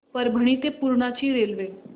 परभणी ते पूर्णा ची रेल्वे